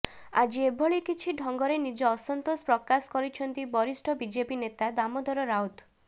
ଆଜି ଏଭଳି କିଛି ଢଙ୍ଗରେ ନିଜ ଅସନ୍ତୋଷ ପ୍ରକାଶ କରିଛନ୍ତି ବରିଷ୍ଠ ବିଜେପି ନେତା ଦାମୋଦର ରାଉତ